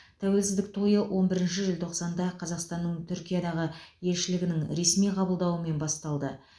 тәуелсіздік тойы он бірінші желтоқсанда қазақстанның түркиядағы елшілігінің ресми қабылдауымен басталды